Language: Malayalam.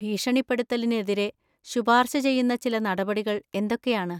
ഭീഷണിപ്പെടുത്തലിനെതിരെ ശുപാർശ ചെയ്യുന്ന ചില നടപടികൾ എന്തൊക്കെയാണ്?